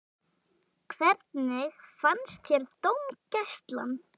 Hvernig fannst þér dómgæslan?